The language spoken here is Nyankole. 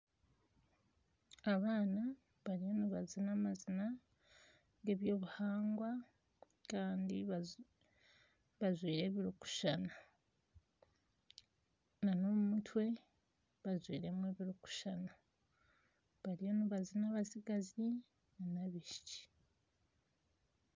Abaana bariyo nibazina amazina g'eby'obuhangwa kandi bajwaire ebirikushushana n'omu mutwe bajwairemu ebirikushushana bariyo nibazina abatsigazi n'abaishiki.